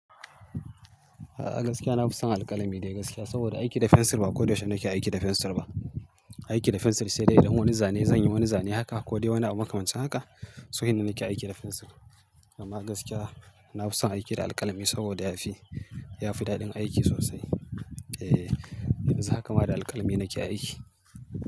A gaskiya, na fi son alƙalami da gaskiya saboda aiki da fensir ba ko yaushe nake aiki da fensir ba. Aiki da fensir sai dai idan wani zane zan yi wani zane haka ko dai wani abu makamanci haka, sai hinna nake aiki da fensir. Amma gaskiya, na fi son aiki da alƙalami saboda ya fi, ya fi daɗin aiki sosai. Eh, yanzu haka ma da alƙalami nake aiki.